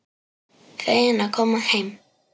Feginn að koma heim.